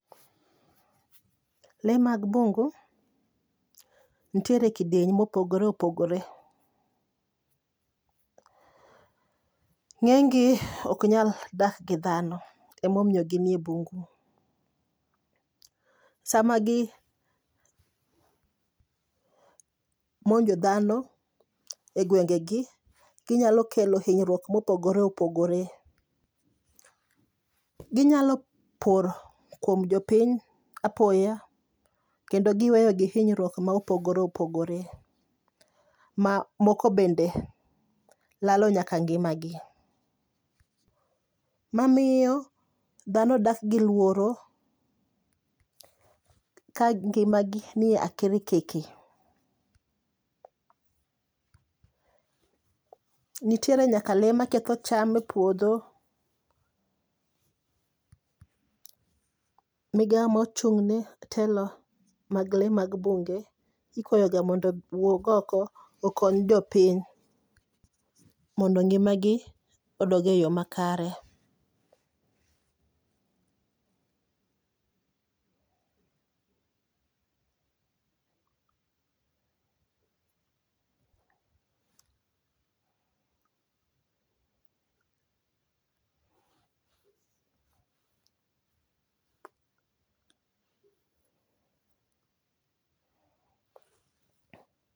Le mag bungu nitiere e kidieny mopogore opogore, ng'eny gi ok nyal dak gi dhano. Emomiyo ginie bungu, sama gi monjo dhano e gwenge gi, ginyalo kelo hinyruok mopogore opogore. Ginyal por kuom jopiny apoya, kendo giweyo gi hinyruok mopogore opogore, ma moko bende lalo nyaka ngima gi. Mamiyo dhano dak gi luoro, ka ngima gi niye akirikiki. Nitiere nyaka le ma ketho cham e puodho, migawo ma ochung' ne telo mag le mag bunge ikwayo ga mondo wuog oko okony jopiny. Mondo ngima gi odoge yo ma kare.